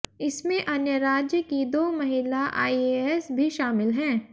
इसमें अन्य राज्य की दो महिला आईएएस भी शामिल हैं